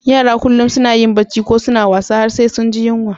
Yara kullum suna yin Bacci ko suna wasa har sai sun ji yunwa.